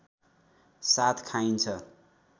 साथ खाइन्छ